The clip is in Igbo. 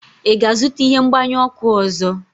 ị ga-azụta ihe mgbanyụ ọkụ ọzọ?